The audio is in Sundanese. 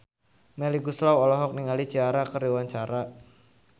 Melly Goeslaw olohok ningali Ciara keur diwawancara